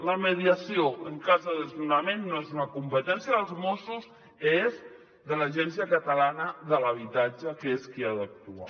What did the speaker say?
la mediació en cas de desnonament no és una competència dels mossos és de l’agència catalana de l’habitatge que és qui ha d’actuar